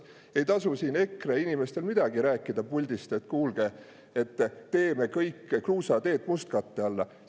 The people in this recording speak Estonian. Ei tasu siin EKRE inimestel puldis rääkida, et kuulge, paneme kõik kruusateed mustkatte alla.